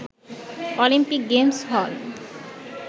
Olympic Games হল